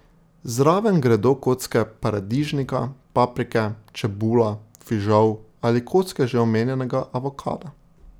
Zraven gredo kocke paradižnika, paprike, čebula, fižol ali kocke že omenjenega avokada.